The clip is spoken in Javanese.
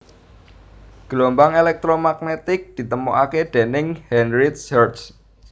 Gelombang èlèktromagnetik ditemokaké déning Heinrich Hertz